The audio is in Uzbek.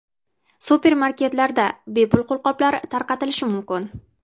Supermarketlarda bepul qo‘lqoplar tarqatilishi mumkin.